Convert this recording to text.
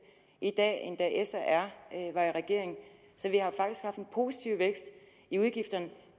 i dag end da s og r var i regering så vi har faktisk haft en positiv vækst i udgifterne